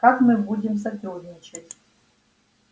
как мы будем сотрудничать